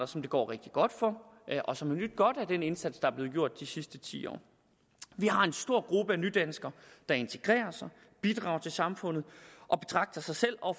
som det går rigtig godt for og som har nydt godt af den indsats der er blevet gjort de sidste ti år vi har en stor gruppe af nydanskere der integrerer sig bidrager til samfundet og betragter sig selv og